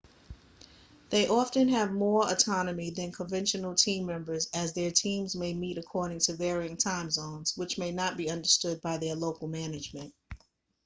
they often have more autonomy than conventional team members as their teams may meet according to varying time zones which may not be understood by their local management